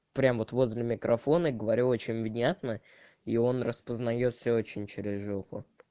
прям вот возле микрофона и говорю очень внятно и он распознает все очень через жопу